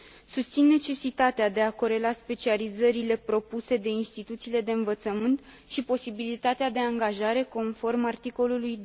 Susțin necesitatea de a corela specializările propuse de instituțiile de învățământ și posibilitatea de angajare conform articolului